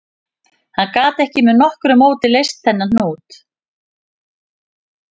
Hann gat ekki með nokkru móti leyst þennan hnút